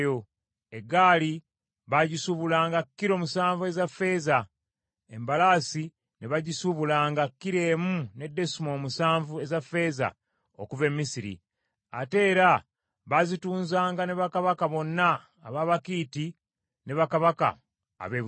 Eggaali baagisuubulanga kilo musanvu eza ffeeza, embalaasi ne bagisuubulanga kilo emu ne desimoolo musanvu eza ffeeza okuva e Misiri. Ate era baazitunzanga ne bakabaka bonna ab’Abakiiti ne bakabaka ab’e Busuuli.